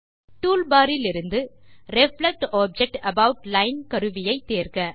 toolbar இலிருந்து reflect object about line கருவியை தேர்க